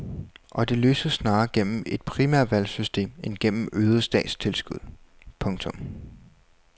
Og det løses snarere gennem et primærvalgsystem end gennem øgede statstilskud. punktum